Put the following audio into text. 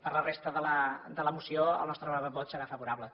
per la resta de la moció el nostre vot serà favorable